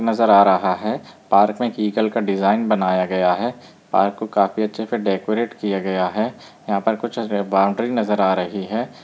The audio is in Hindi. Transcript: --नजर आ रहा है पार्क में एक ईगल का डिजाइन बनाया गया है पार्क को काफी अच्छा डेकोरेट किया गया है यहाँ पर कुछ-छ बॉउंड्री नज़र आ रही है।